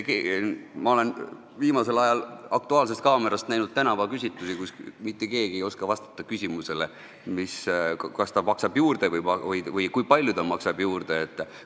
Ma olen viimasel ajal "Aktuaalsest kaamerast" näinud tänavaküsitlusi, kus mitte keegi ei ole osanud vastata küsimusele, kas ta maksab juurde või kui palju ta juurde maksab.